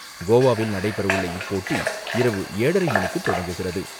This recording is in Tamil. கோவாவில் நடைபெறவுள்ள இப்போட்டி இரவு ஏழரை மணிக்கு தொடங்குகிறது.